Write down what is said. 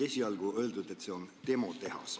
Esialgu on öeldud, et see on demotehas.